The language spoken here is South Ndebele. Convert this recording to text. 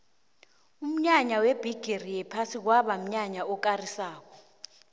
umnyanya webhigiri yephasi kwaba mnyanya okarisako